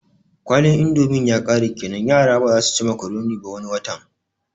Kwalin indomin yakare kenan yaran bazasu ci makuroni ba wani watan